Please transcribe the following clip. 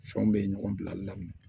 Fɛnw bɛ ye ɲɔgɔn bilali daminɛ